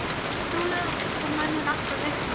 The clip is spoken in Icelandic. Þú ert duglegur og gull af manni en alltof viðkvæmur.